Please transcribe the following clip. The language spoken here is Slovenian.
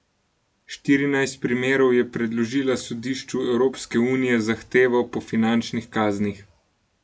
Štirinajst primerov je predložila Sodišču Evropske unije z zahtevo po finančnih kaznih.